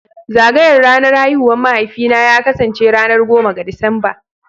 Zagayar ranar haihuwar mahaifina zai kasance ranar goma ga Disamba